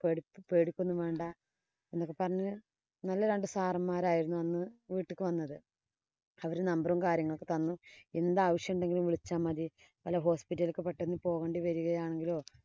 പേടിക്ക പേടിക്കയൊന്നും വേണ്ട. എന്നൊക്കെ പറഞ്ഞു. നല്ല രണ്ടു sir ഉമാരായിരുന്നു അന്ന് വീട്ട്ക്ക് വന്നത്. അവര് number ഉം, കാര്യങ്ങളും ഒക്കെ തന്നു. എന്താവശ്യമുണ്ടെങ്കിലും വിളിച്ചാ മതി. വല്ല hospital ക്ക് പെട്ടന്ന് പോകേണ്ടി വരികയാണെങ്കിലോ